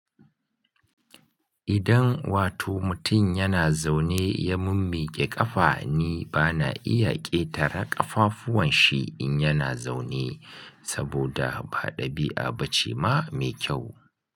Idan wato mutum yana zaune ya mummiƙe ƙafa, ni bana iya ƙetara ƙafafuwan shi in yana zaune saboda ba ɗabi'a ba ce ma mai kyau.